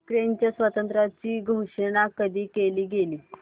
युक्रेनच्या स्वातंत्र्याची घोषणा कधी केली गेली